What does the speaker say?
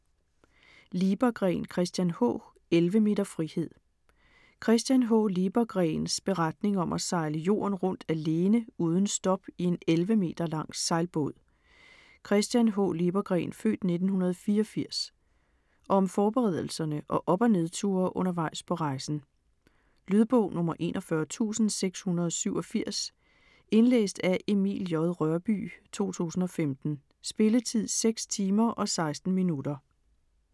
Liebergreen, Christian H.: 11 meter frihed Christian H. Liebergreens (f. 1984) beretning om at sejle jorden rundt alene uden stop i en 11 meter lang sejlbåd. Om forberedelserne og op- og nedture undervejs på rejsen. Lydbog 41687 Indlæst af Emil J. Rørbye, 2015. Spilletid: 6 timer, 16 minutter.